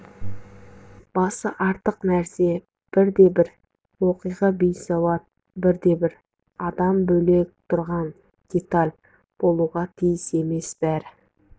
басы артық нәрсе бірде-бір оқиға бейсауат бірде-бір адам бөлек тұрған деталь болуға тиіс емес бәрі автордың көркемдік ойына